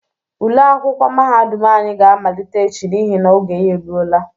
Ule akwụkwọ mahadum anyị ga amalite echi n'ihi na oge ya eluola.